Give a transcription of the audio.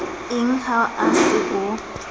eng ha o se o